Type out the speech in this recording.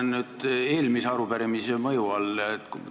Ma olen eelmise arupärimise mõju all.